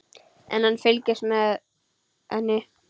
En hann fylgist með henni.